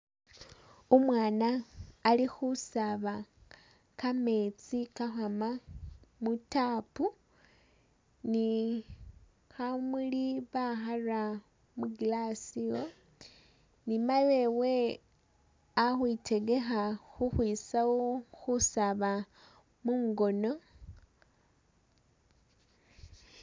Umwana ali khusaba kametsi kali ukhwama mu tap ni khamuli bakhara mu glass iwo, ni mayi wewe ali ukhwitegekha ikhwitsawo khusaaba mungono.